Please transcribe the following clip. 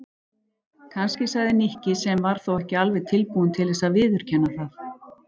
Kannski sagði Nikki sem var þó ekki alveg tilbúinn til þess að viðurkenna það.